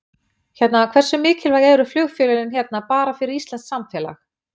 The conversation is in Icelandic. Hérna hversu mikilvæg eru flugfélögin hérna bara fyrir íslenskt samfélag?